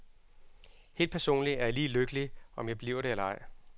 Helt personlig er jeg lige lykkelig, om jeg bliver det eller ej.